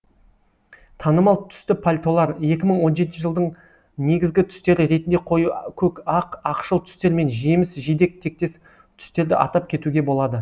танымал түсті пальтолар екі мың он жетінші жылдың негізгі түстері ретінде қою көк ақ ақшыл түстер мен жеміс жидек тектес түстерді атап кетуге болады